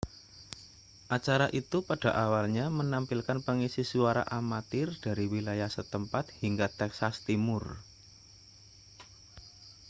acara itu pada awalnya menampilkan pengisi suara amatir dari wilayah setempat hingga texas timur